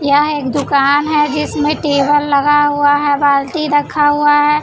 यहाँ एक दुकान है जिसमें टेबल लगा हुआ है बाल्टी रखा हुआ है।